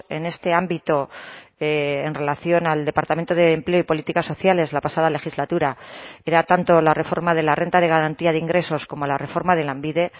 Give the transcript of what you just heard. en este ámbito en relación al departamento de empleo y políticas sociales la pasada legislatura era tanto la reforma de la renta de garantía de ingresos como la reforma de lanbide